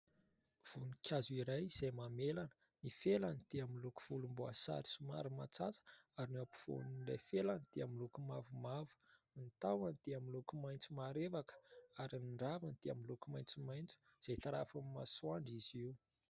Voninkazo iray izay mamelana ny felany dia miloko volomboasary somary matsatso ary ny ampovoan'ilay felany dia miloko mavomavo, ny tahony dia miloko maitso marevaka ary ny raviny dia miloko maitsomaitso izay tarafin'ny masoandro izy io.